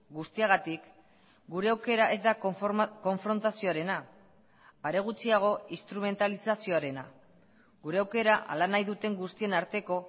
guztiagatik gure aukera ez da konfrontazioarena are gutxiago instrumentalizazioarena gure aukera hala nahi duten guztien arteko